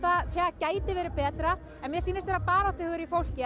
gæti verið betra en mér sýnist vera baráttuhugur í fólki